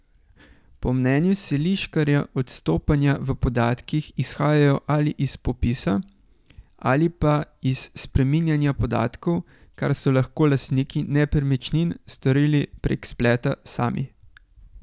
Po mnenju Seliškarja odstopanja v podatkih izhajajo ali iz popisa, ali pa iz spreminjanja podatkov, kar so lahko lastniki nepremičnin storili prek spleta sami.